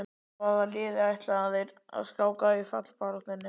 Hvaða liði ætla þeir að skáka í fallbaráttunni?